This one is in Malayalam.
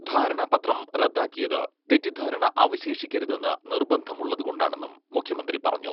ധാരണാപത്രം റദ്ദാക്കിയത് തെറ്റിദ്ധാരണ അവശേഷിക്കരുതെന്ന് നിർബന്ധമുള്ളത് കൊണ്ടാണെന്നും മുഖ്യമന്ത്രി പറഞ്ഞു.